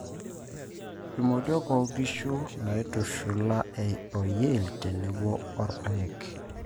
imodiok oo nkishu naitushula o yield tenebo orpaek.